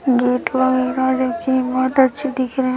रखें हैं बहोत अच्छे दिख रहे हैं।